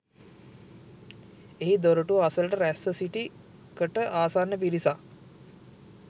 එහි දොරටුව අසලට රැස්ව සිටි කට ආසන්න පිරිසක්